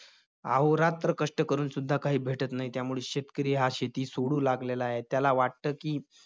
अहोरात्र कष्ट करूनसुद्धा काही भेटत नाही. त्यामुळं शेतकरी हा शेती सोडू लागलेला आहे. त्याला वाटतं की,